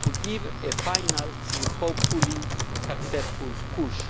to give a final and, hopefully, successful push.